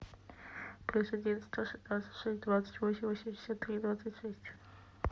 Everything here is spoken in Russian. плюс один сто шестнадцать шесть двадцать восемь восемьдесят тринадцать шесть